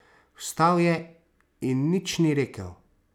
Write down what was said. Vstal je in nič ni rekel.